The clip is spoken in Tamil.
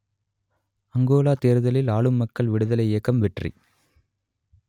அங்கோலா தேர்தலில் ஆளும் மக்கள் விடுதலை இயக்கம் வெற்றி